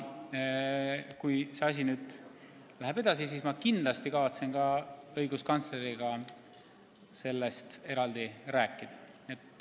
Kui see menetlus läheb edasi, siis ma kindlasti kavatsen õiguskantsleriga sellest eraldi rääkida.